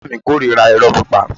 Ìyá mi korira iro pípa.